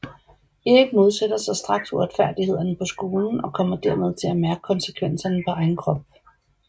Erik modsætter sig straks uretfærdighederne på skolen og kommer dermed til at mærke konsekvenserne på egen krop